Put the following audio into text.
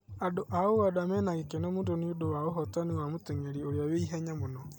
Andũ a ũganda mena gĩkeno mũno nĩũndũ wa ũhotani wa mũtengeri ũrĩa wĩ ihenya mũno